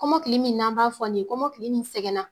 Kɔmɔ min n'an b'a fɔ nin ye kɔmɔkili nin sɛgɛnna.